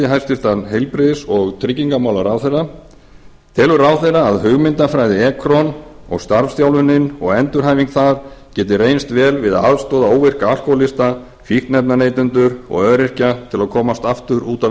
hæstvirtum heilbrigðis og tryggingamálaráðherra fyrstu telur ráðherra að hugmyndafræði ekron og starfsþjálfun og endurhæfing þar geti reynst vel við að aðstoða óvirka alkóhólista fíkniefnaneytendur og öryrkja til að komast aftur út á